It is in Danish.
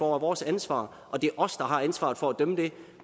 vores ansvar og det er os der har ansvaret for at dømme dem